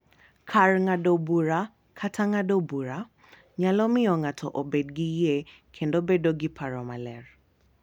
Kar ng’ado bura kata ng’ado bura, nyalo miyo ng’ato obed gi yie kendo bedo gi paro maler,